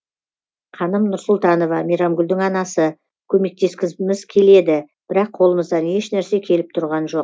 қаным нұрсұлтанова мейрамгүлдің анасы көмектескіміз келеді бірақ қолымыздан ешнәрсе келіп тұрған жоқ